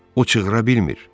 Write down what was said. O cığıra bilmir.